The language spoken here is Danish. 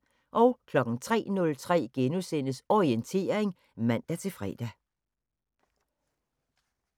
03:03: Orientering *(man-fre)